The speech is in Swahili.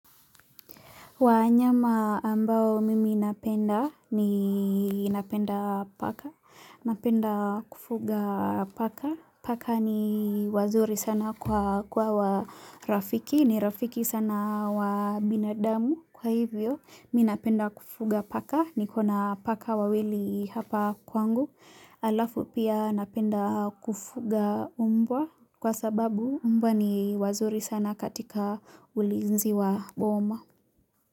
Wanyama ambao mimi napenda ni napenda paka, napenda kufuga paka, paka ni wazuri sana kwa warafiki, ni rafiki sana wa binadamu kwa hivyo, mi napenda kufuga paka, niko na paka wawili hapa kwangu, alafu pia napenda kufuga mmbwa kwa sababu mmbwa ni wazuri sana katika ulinzi wa boma.